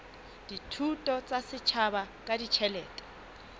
dithuso tsa setjhaba ka ditjhelete